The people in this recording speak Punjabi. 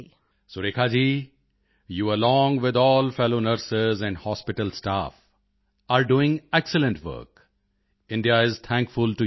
Surekha ji you along with all fellow nurse and hospital staff are doing excellent work India is thankful to you all